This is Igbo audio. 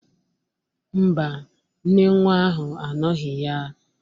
Ḿbà, nne nwa ahụ anọghị ya.